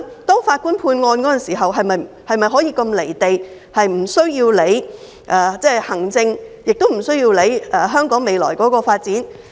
當法官判案時，是否可以如此"離地"，無須理會行政，也無須理會香港未來的發展？